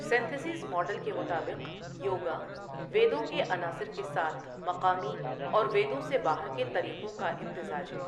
Synthesis model کے مطابق، یوگا ویدوں کے عناصر کے ساتھ مقامی اور ویدوں سے باہر کے طریقوں کا امتزاج ہے۔